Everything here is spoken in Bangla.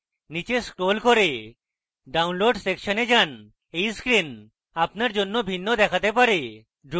নীচে scroll করে download সেকশনে যান এই screen আপনার জন্য ভিন্ন দেখতে পারে